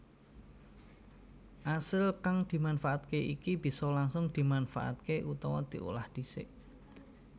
Asil kang dimanfaatke iki bisa langsung dimanfaatké utawa diolah dhisik